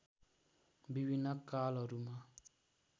विभिन्न कालहरूमा